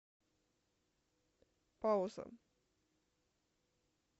пауза